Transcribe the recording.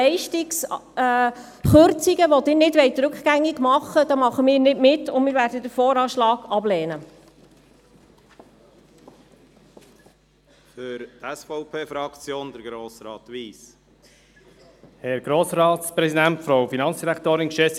Sie können dann, wenn es keinen Nebel hat, Richtung Hauptstrasse schauen, die vom Kanton Solothurn in den Kanton Bern führt.